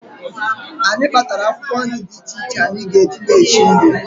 Anyị kpatara akwụkwọ nri dị iche iche anyị ga-eji na-esi nri